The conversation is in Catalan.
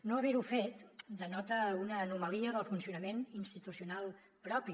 no haver ho fet denota una anomalia del funcionament institucional propi